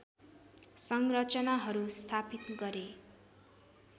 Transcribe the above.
संरचनाहरू स्थापित गरे